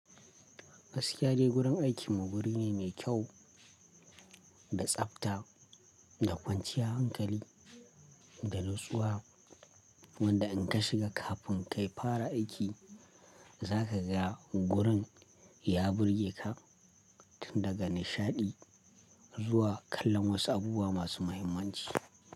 Gaskiya dai gurin aikinmu guri ne mai kyau da tsafta, da kwanciyar hankali da natsuwa wanda in ka shiga kafin ka fara aiki, za ka ga gurin ya burge ka tun daga nishaɗi zuwa kallon wasu abubuwa masu muhimmanci.